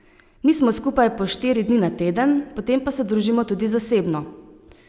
Mi smo skupaj po štiri dni na teden, potem pa se družimo tudi zasebno.